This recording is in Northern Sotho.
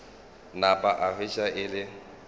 napa a hwetša e le